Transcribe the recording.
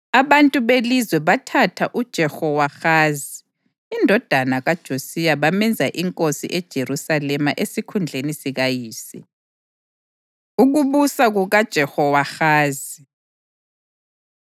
Abantu belizwe bathatha uJehowahazi indodana kaJosiya bamenza inkosi eJerusalema esikhundleni sikayise. Ukubusa KukaJehowahazi